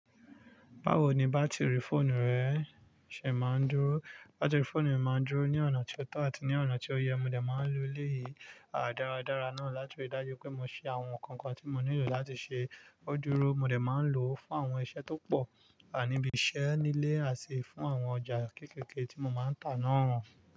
Báwo ni bátìrì fóònù rẹ ṣe maa ń dúró? Bátìrì fóònù mi máa ń dúró ní ọ̀nà tí ó tọ́ àti ní ọ̀nà tí ó yẹ. Mo dẹ máa ń lo elé yìí dáradára náà láti ríi dájú pé mo ṣe àwọn nǹkan kan tí mo nílò láti ṣe. O dúró. Mo dẹ̀ máa ń lò ó fún àwọn iṣẹ́ tó pọ̀, níbi iṣẹ́, ní ilé, àti fún àwọn ọjà kéekéké tí mo máa ń tà náà hàn.